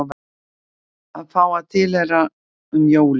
Að fá að tilheyra um jólin